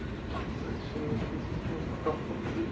бар сіз шынымен келісез бе осыған жоқ па бізде